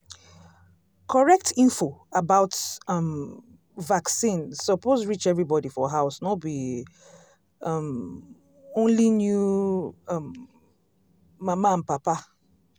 correct info about um vaccine suppose reach everybody for house no be um only new um mama and papa.